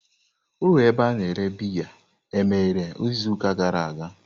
Ụlọ ebe a na-ere biya emeghere izuụka gara aga?